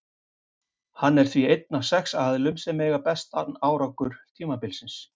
Hann er því einn af sex aðilum sem eiga besta árangur tímabilsins.